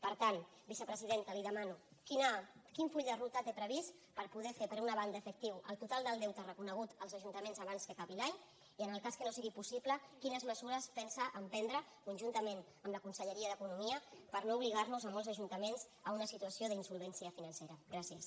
per tant vicepresidenta li demano quin full de ruta té previst per poder fer per una banda efectiu el total del deute reconegut als ajuntaments abans que acabi l’any i en el cas que no sigui possible quines mesures pensa emprendre conjuntament amb la conselleria d’economia per no obligar nos a molts ajuntaments a una situació d’insolvència financera gràcies